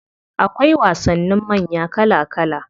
Akwai wasannin manya kala kala.